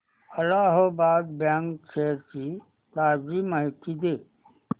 Allahabad bank shares ची ताजी माहिती दे